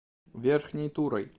верхней турой